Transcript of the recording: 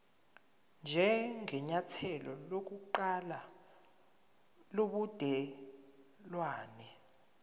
njengenyathelo lokuqala lobudelwane